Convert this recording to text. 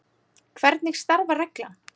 Hvernig starfar reglan?